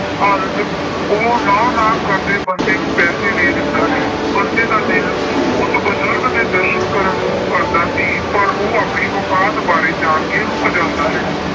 ਅੰਤ ਉਹ ਨਾਂਹ ਨਾਂਹ ਕਰਦੇ ਬੰਤੇ ਨੂੰ ਪੈਸੇ ਦੇ ਦਿੰਦਾ ਹੈ। ਬੰਤੇ ਦਾ ਦਿਲ ਉਸ ਬਜੁਰਗ ਦੇ ਦਰਸ਼ਨ ਕਰਨ ਨੂੰ ਕਰਦਾ ਸੀ ਪਰ ਉਹ ਆਪਣੀ ਔਕਾਤ ਬਾਰੇ ਜਾਣ ਕੇ ਰੁੱਕ ਜਾਂਦਾ ਹੈ।